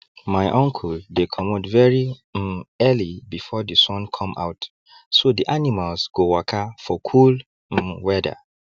my uncle dey comot very um early before the sun come out so the animals go waka for cool um weather